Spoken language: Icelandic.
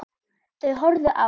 Þau horfðu á